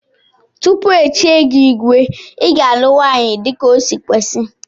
Tupu echie gi igwe iga alụ nwanyi dika osi kwesi.